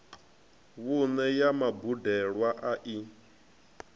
vhuṋe ya mubadelwa a i